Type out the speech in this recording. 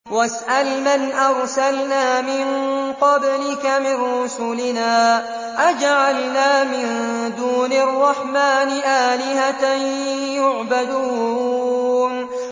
وَاسْأَلْ مَنْ أَرْسَلْنَا مِن قَبْلِكَ مِن رُّسُلِنَا أَجَعَلْنَا مِن دُونِ الرَّحْمَٰنِ آلِهَةً يُعْبَدُونَ